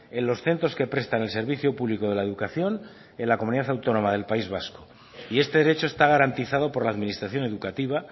en los centros que prestan el servicio público de la educación en la comunidad autónoma del país vasco y este derecho está garantizado por la administración educativa